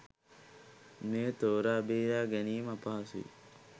මෙය තෝරා බේරා ගැනීම අපහසුයි.